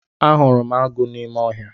Ahụrụ m agụ n'ime ọhịa.